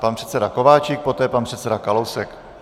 Pan předseda Kováčik, poté pan předseda Kalousek.